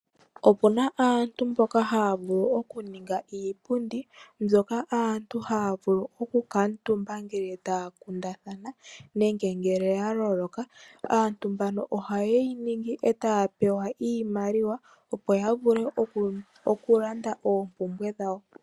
Opu na aantu mboka haya vulu okuninga iipundi mbyoka aantu haya vulu okukutumba ngele taya kundathana nenge ngele ya loloka. Aantu mbano ohaye yi ningi etaya pewa iimaliwa opo ya vule okulanda oompumbwe dhawo.